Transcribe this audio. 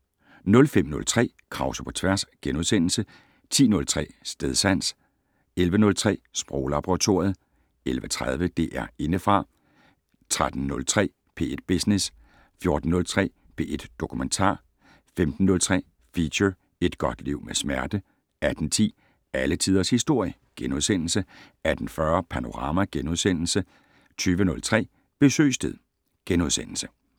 05:03: Krause på tværs * 10:03: Stedsans 11:03: Sproglaboratoriet 11:30: DR Indefra 13:03: P1 Business 14:03: P1 Dokumentar 15:03: Feature: Et godt liv med smerte 18:10: Alle Tiders Historie * 18:40: Panorama * 20:03: Besøgstid *